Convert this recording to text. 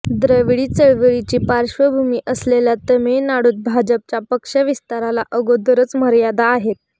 द्रविडी चळवळीची पार्श्वभूमी असलेल्या तामीळनाडूत भाजपच्या पक्षविस्ताराला अगोदरच मर्यादा आहेत